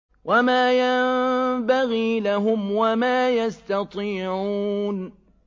وَمَا يَنبَغِي لَهُمْ وَمَا يَسْتَطِيعُونَ